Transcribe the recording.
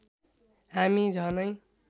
हामी झनै